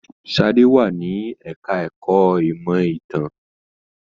Sadé wà ní ẹka ẹ̀kọ́ ìmọ ìtàn.